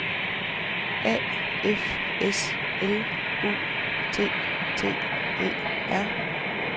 A F S L U T T E R